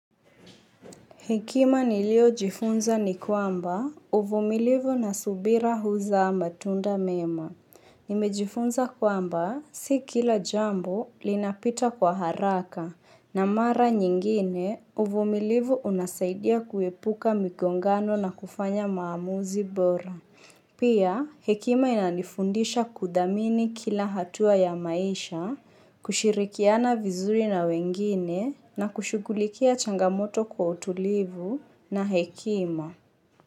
Hekima niliyo jifunza ni kwamba uvumilivu na subira huzaa matunda mema. Nimejifunza kwamba si kila jambo linapita kwa haraka na mara nyingine uvumilivu unasaidia kuepuka migongano na kufanya maamuzi bora. Pia hekima inandifundisha kudhamini kila hatua ya maisha, kushirikiana vizuri na wengine na kushughulikia changamoto kwa utulivu na hekima.